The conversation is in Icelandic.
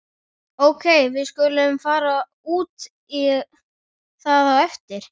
Ókei, við skulum fara út í það á eftir.